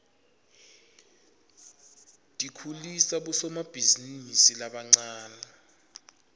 tikhulisa bosomabhizinisi labancane